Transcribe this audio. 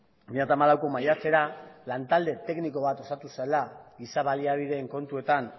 bi mila hamalauko maiatzera lantalde tekniko bat osatu zela giza baliabideen kontuetan